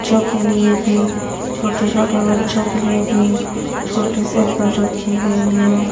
च्चों के लिए भी छोटे छोटे बच्चों के लिए भी छोटी सायकल रखी गई है।